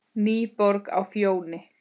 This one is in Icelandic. NÝBORG Á FJÓNI,